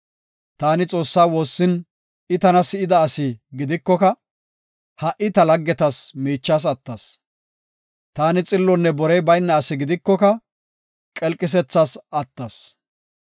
Taani Xoossaa woossin I tana si7ida asi gidikoka, ha77i ta laggetas miichas attas; taani xillonne borey bayna asi gidikoka qelqisethas attas.